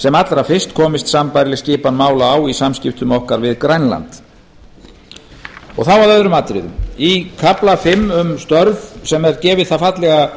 sem allra fyrst komist sambærileg skipan mála á í samskiptum okkar við grænland þá að öðrum atriðum í kafla fimm um störf sem er gefin sú fallega